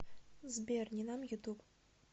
сбер ниман ютуб